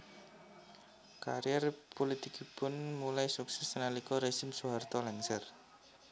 Karier pulitikipun mulai sukses nalika rezim Soeharto lengser